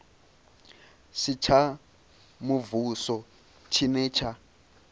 si tsha muvhuso tshine tsha